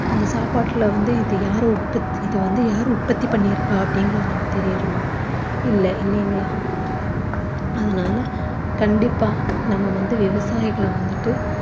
அந்த சாப்பாட்டுல வந்து இது யாரு உற்பத்~ இது வந்து யாரு உற்பத்தி பண்ணி இருப்பா அப்படிங்கறது நம்ம தெரியருமா இல்ல இல்லைங்களா அதனால கண்டிப்பா நம்ம வந்து விவசாயகள வந்துட்டு